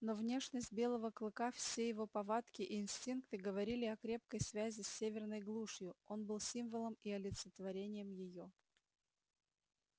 но внешность белого клыка все его повадки и инстинкты говорили о крепкой связи с северной глушью он был символом и олицетворением её